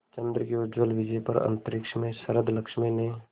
चंद्र की उज्ज्वल विजय पर अंतरिक्ष में शरदलक्ष्मी ने